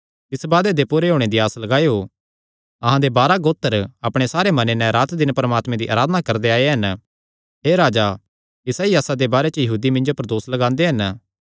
तिस वादे दे पूरे होणे दी आस लगायो अहां दे बारांह गोत्र अपणे सारे मने नैं रात दिन परमात्मे दी अराधना करदे आये हन हे राजा इसा ई आसा दे बारे च यहूदी मिन्जो पर दोस लगांदे हन